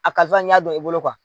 A karisa n y'a don i bolo